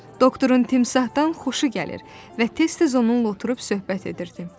Doktorun timsahdan xoşu gəlir və tez-tez onunla oturub söhbət edirdi.